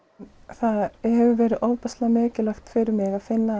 það hefur verið ofboðslega mikilvægt fyrir mig að finna